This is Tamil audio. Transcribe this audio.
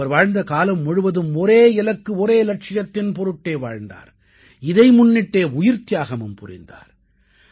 அவர் வாழ்ந்த காலம் முழுவதும் ஒரே இலக்கு ஒரே இலட்சியத்தின் பொருட்டே வாழ்ந்தார் இதை முன்னிட்டே உயிர்த்தியாகமும் புரிந்தார்